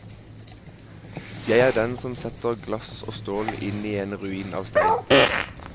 Jeg er den som setter glass og stål inn i en ruin av stein.